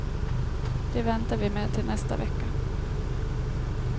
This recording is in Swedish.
Det väntar vi med tills nästa vecka.